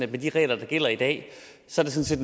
de regler der gælder i dag sådan set